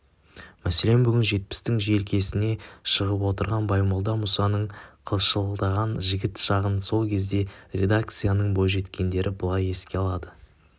мәселен бүгін жетпістің желкесіне шығып отырған баймолда мұсаның қылшылдаған жігіт шағын сол кездегі редакцияның бойжеткендері былай еске алады